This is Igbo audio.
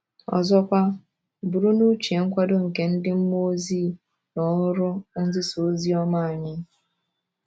Ọzọkwa, buru n’uche nkwado nke ndị mmụọ ozi n’ọrụ nzisa ozi ọma anyị.